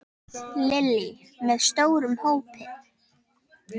Lillý: Með stórum hópi?